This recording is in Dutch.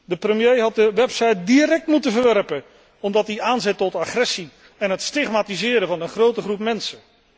De premier had de website direct moeten verwerpen, omdat die aanzet tot agressie en het stigmatiseren van een grote groep mensen.